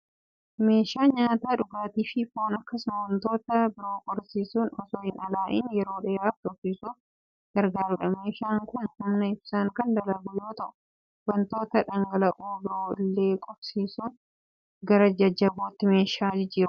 Meeshaa nyaata, dhugaatii fi foon akkasumas wantoota biroo qorrisiisuun osoo hin alaa'iin yeroo dheeraaf tursiisuuf gargaarudha. Meeshaan kun humna ibsaan kan dalagu yoo ta'u, wantoota dhangal'oo biroo illee qorrisiisuun gara jajjabootti meeshaa jijjiirudha.